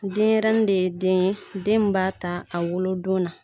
Denyɛrɛnin ne ye den ye den mun b'a ta a wolodon na